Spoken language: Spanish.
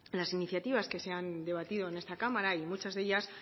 las iniciativas que se han debatido en esta cámara y muchas de ellas